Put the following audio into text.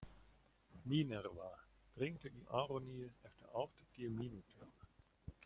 Mínerva, hringdu í Aroníu eftir áttatíu mínútur.